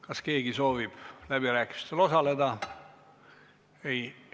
Kas keegi soovib läbirääkimistel osaleda?